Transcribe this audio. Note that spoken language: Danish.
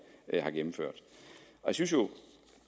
har gennemført jeg synes jo